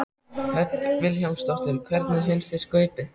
Hödd Vilhjálmsdóttir: Hvernig fannst þér Skaupið?